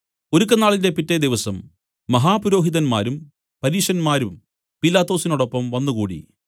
ഒരുക്കനാളിന്റെ പിറ്റെ ദിവസം മഹാപുരോഹിതന്മാരും പരീശന്മാരും പീലാത്തൊസിനോടൊപ്പം വന്നുകൂടി